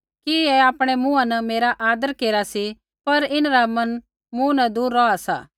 ऐ आपणै मुँहा न मेरा आदर केरा सी पर इन्हरा मन मूँ न दूर रौहा सा